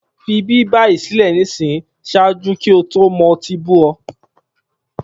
fi ibi bayi sile nisin, ṣaaju ki o to mo ti bú ọ!